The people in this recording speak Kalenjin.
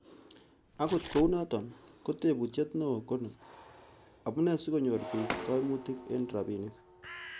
Akot kounoton, ko tebutiet neo koni,'Amune sikonyoru bik koimutik en rabinik?